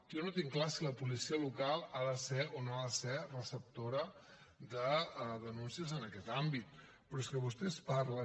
jo no tinc clar si la policia local ha de ser o no ha de ser receptora de denúncies en aquest àmbit però és que vostès parlen